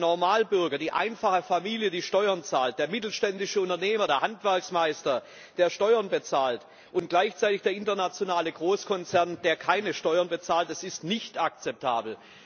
Der Normalbürger, die einfache Familie, die Steuern zahlt, der mittelständische Unternehmer, der Handwerksmeister, der Steuern bezahlt, und gleichzeitig der internationale Großkonzern, der keine Steuern bezahlt Das ist nicht akzeptabel!